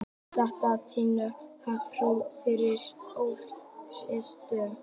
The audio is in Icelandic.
Þetta styður að fótur sé fyrir alþýðuvísindunum.